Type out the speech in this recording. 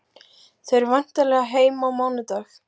Þau eru væntanleg heim á mánudag.